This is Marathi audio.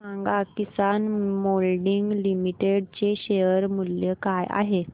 सांगा किसान मोल्डिंग लिमिटेड चे शेअर मूल्य काय आहे